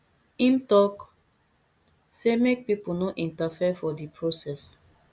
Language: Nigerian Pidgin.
im tok say make pipo no interfere for di process